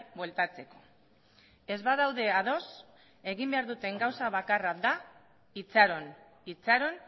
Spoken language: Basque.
bueltatzeko ez badaude ados egin behar duten gauza bakarra da itxaron itxaron